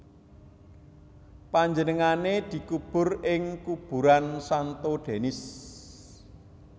Panjenengané dikubur ing kuburan Santo Denis